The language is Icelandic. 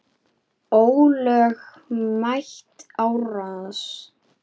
Ólögmæt árás.